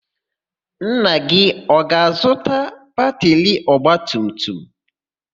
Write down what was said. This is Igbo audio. Nna gị ọ ga-azụta batịrị ọgbatumtum?